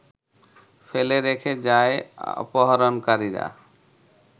ফেলে রেখে যায় অপহরণকারীরা